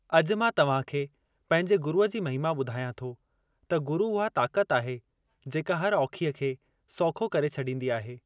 अॼु मां तव्हां खे पंहिंजे गुरुअ जी महिमा ॿुधायां थो त गुरु उहा ताक़त आहे जेका हर औखीअ खे सौखो करे छॾींदी आहे।